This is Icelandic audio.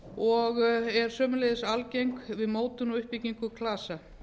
og er sömuleiðis algeng við mótun og uppbyggingu klasa